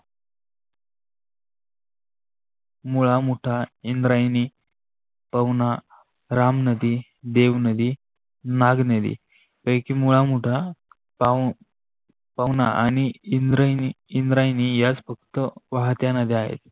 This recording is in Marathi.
मुळा मोठा इंद्रायण पाहुणा, रामनदी, देवनदी, नागनदी, कैकी, मुळा, मोठा पाहुणा आणि इद्रायेणी याच फक्त वहात्या नद्या आहे.